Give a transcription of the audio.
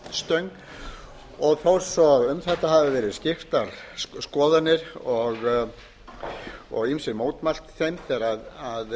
lyftistöng og þó svo um þetta hafi verið skiptar skoðanir og ýmsir mótmælt þeim þegar þær